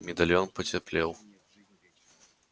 медальон потеплел